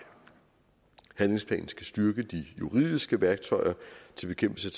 handlingsplanen skal styrke de juridiske værktøjer til bekæmpelse